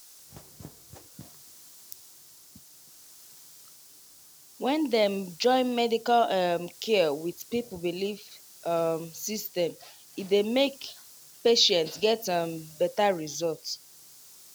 wait small — when dem join medical um care with people belief um system e dey make patient get um better result.